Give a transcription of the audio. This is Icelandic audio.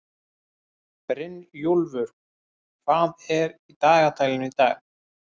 Brynjúlfur, hvað er í dagatalinu í dag?